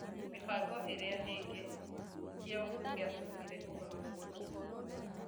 Mĩbango ĩrĩa ĩngĩ kĩo gĩatũmire ũhoro mũingĩ .